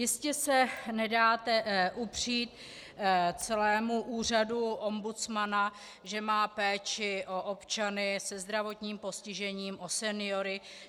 Jistě se nedáte upřít celému úřadu ombudsmana, že má péči o občany se zdravotním postižením, o seniory.